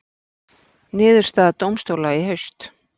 Niðurstaða dómstóla í haust